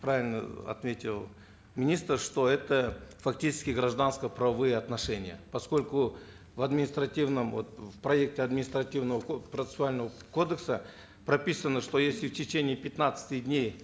правильно отметил министр что это фактически гражданско правовые отношения поскольку в административном вот в проекте административного процессуального кодекса прописано что если в течение пятнадцати дней